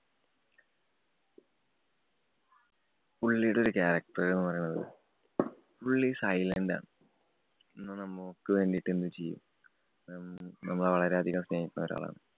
പുള്ളിടൊരു character എന്ന് പറയുന്നത്, പുള്ളി silent ആണ്. എന്നാ നമുക്ക് വേണ്ടീട്ട് എന്തും ചെയ്യും. നമ്മളെ വളരെയധികം സ്നേഹിക്കുന്ന ഒരാളാണ്.